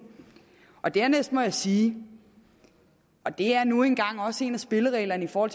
dernæst må jeg sige og det er nu engang også en af spillereglerne for